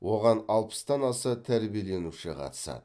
оған алпыстан аса тәрбиеленуші қатысады